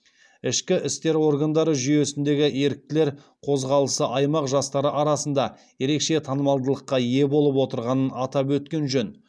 ішкі істер органдары жүйесіндегі еріктілер қозғалысы аймақ жастары арасында ерекше танымалдылыққа ие болып отырғанын атап өткен жөн